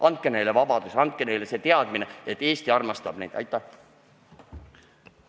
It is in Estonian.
Andke neile vabadus, andke neile see teadmine, et Eesti armastab neid!